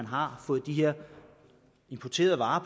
har fået de her importerede varer